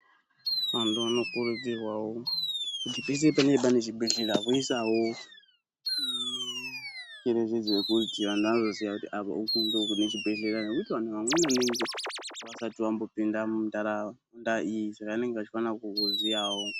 Vanthu vanokurudzirwawo kuti peshe panenge pane chibhedhlera voisawo tsviriridzo yekuti vanthu vazoziya kuti apo ndopane chibhedhera vanthu vanenge vasati vambopinda muntaraunda iyi saka vanofana kukuziyawo.